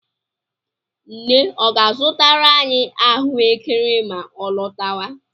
Nne ọ ga-azụtara anyị ahụekere ma ọ lọtawa?